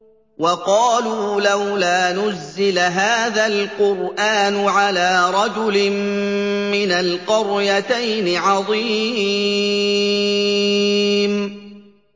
وَقَالُوا لَوْلَا نُزِّلَ هَٰذَا الْقُرْآنُ عَلَىٰ رَجُلٍ مِّنَ الْقَرْيَتَيْنِ عَظِيمٍ